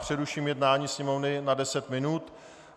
Přeruším jednání Sněmovny na deset minut.